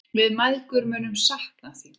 Við mæðgur munum sakna þín.